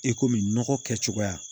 I komi nɔgɔ kɛcogoya